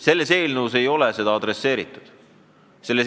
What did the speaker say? Selle eelnõu kohaselt seda ei tule.